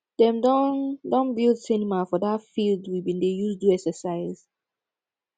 dem don don build cinema for that field we bin dey use do exercise